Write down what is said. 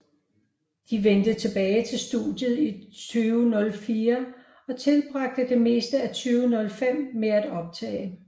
De vendte tilbage til studiet i 2004 og tilbragte det meste af 2005 med at optage